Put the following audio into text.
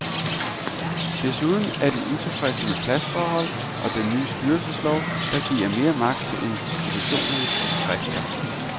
Desuden er de utilfredse med pladsforhold og den nye styrelseslov, der giver mere magt til institutionernes rektor.